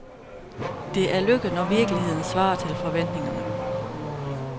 Det er lykke, når virkeligheden svarer til forventningerne.